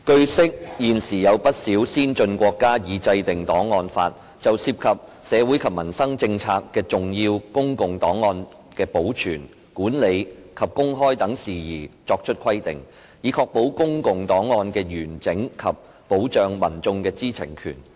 據悉，現時有不少先進國家已制定檔案法，就涉及社會及民生政策的重要公共檔案的保存、管理及公開等事宜作出規定，以確保公共檔案的完整及保障民眾的知情權。